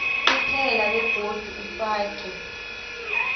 kuphela begodu ufake